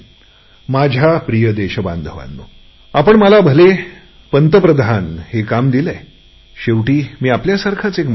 माझ्या प्रिय देशबांधवांनो आपण माझ्याकडे भले पंतप्रधान पदाची धुरा सोपवली मात्र शेवटी मी आपल्यासारखाच एक माणूस आहे